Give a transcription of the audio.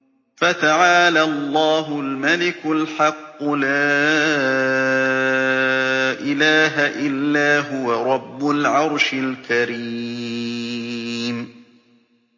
فَتَعَالَى اللَّهُ الْمَلِكُ الْحَقُّ ۖ لَا إِلَٰهَ إِلَّا هُوَ رَبُّ الْعَرْشِ الْكَرِيمِ